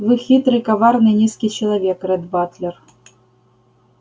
вы хитрый коварный низкий человек ретт батлер